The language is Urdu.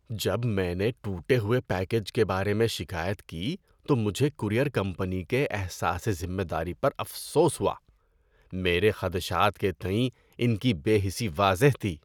جب میں نے ٹوٹے ہوئے پیکیج کے بارے میں شکایت کی تو مجھے کورئیر کمپنی کےاحساسِ ذمہ داری پر افسوس ہوا۔ میرے خدشات کے تئیں ان کی بے حسی واضح تھی۔